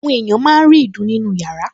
Àwọn èèyàn máa ń rí ìdun nínú yàrá